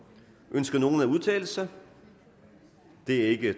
ønsker nogen at udtale sig da det ikke